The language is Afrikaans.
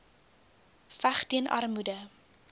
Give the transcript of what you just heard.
veg teen armoede